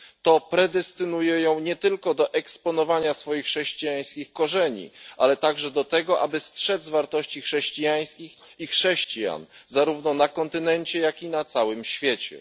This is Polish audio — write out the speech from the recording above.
To predestynuje ją nie tylko do eksponowania swoich chrześcijańskich korzeni, ale także do tego, aby strzec wartości chrześcijańskich i chrześcijan, zarówno na kontynencie, jak i na całym świecie.